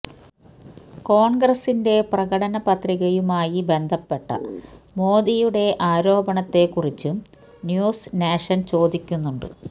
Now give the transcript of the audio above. കോണ്ഗ്രസിന്റെ പ്രകടന പത്രികയുമായി ബന്ധപ്പെട്ട മോദിയുടെ ആരോപണത്തെക്കുറിച്ചും ന്യൂസ് നാഷന് ചോദിക്കുന്നുണ്ട്